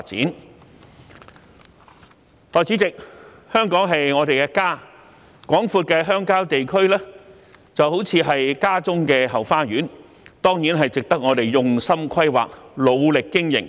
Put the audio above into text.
代理主席，香港是我們的家，廣闊的鄉郊地區就似是家中的後花園，當然值得我們用心規劃，努力經營。